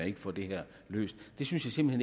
ikke får det her løst det synes jeg simpelt